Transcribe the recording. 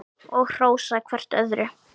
Og hrósa hvert öðru.